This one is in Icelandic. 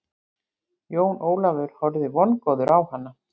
Jón Ólafur horfði vongóður á hana.